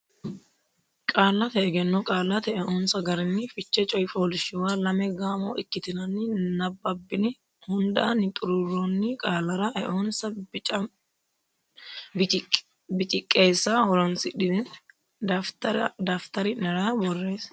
Qaallate Egenno Qaallate Eonsa Garinni Fiche coy fooliishshuwa lame gaamo ikkitinanni nabbabbine hundaanni xuruurroonni qaallara eonsa biciqqeessa horonsidhine daftari nera borreesse.